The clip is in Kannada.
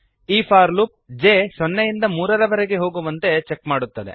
ಈ ಫಾರ್ ಲೂಪ್ ಜೆ ಸೊನ್ನೆಯಿಂದ ಮೂರರವರೆಗೆ ಹೋಗುವಂತೆ ಚೆಕ್ ಮಾಡುತ್ತದೆ